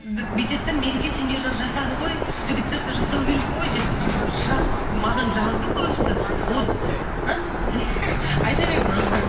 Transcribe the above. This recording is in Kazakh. бүйтеді де мереке сендер жақ жасады ғой жігіт жақ та жасау керек қой деп шығады маған жазды көбісі а айта беріңіз аха